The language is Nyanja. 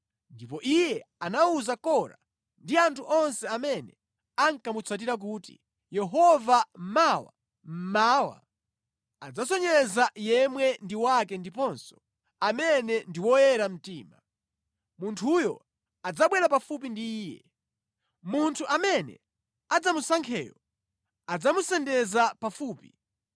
Ndipo iye anawuza Kora ndi anthu onse amene ankamutsatira kuti, “Yehova mawa mmawa adzasonyeza yemwe ndi wake ndiponso amene ndi woyera mtima. Munthuyo adzabwera pafupi ndi Iye. Munthu amene adzamusankheyo adzamusendeza pafupi.